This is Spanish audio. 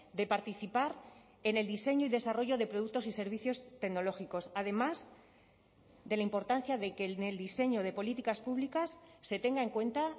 de participar en el diseño y desarrollo de productos y servicios tecnológicos además de la importancia de que en el diseño de políticas públicas se tenga en cuenta